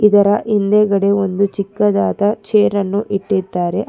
ಇದರ ಹಿಂದುಗಡೆ ಚಿಕ್ಕದಾದ ಚೇರನ್ನು ಇಟ್ಟಿದ್ದಾರೆ ಅದ್--